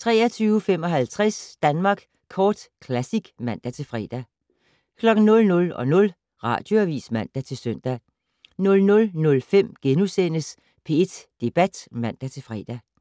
23:55: Danmark Kort Classic (man-fre) 00:00: Radioavis (man-søn) 00:05: P1 Debat *(man-fre)